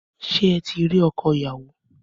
Ṣé eti ri ọkọ ìyàwó?